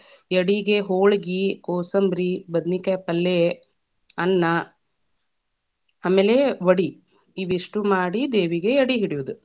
ಎಡಿಗೆ ಹೋಳಗಿ, ಕೋಸಂಬರಿ, ಬದನಿಕಾಯಿ ಪಲ್ಲೆ, ಅನ್ನ, ಆಮೇಲೆ ವಡಿ, ಇವಿಷ್ಟು ಮಾಡಿ ದೇವಿಗೆ ಎಡಿ ಇಡಿಯೋದ.